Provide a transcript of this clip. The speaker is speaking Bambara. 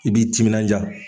I b'i timinanja.